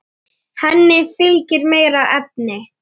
Henni fylgir meiri efi.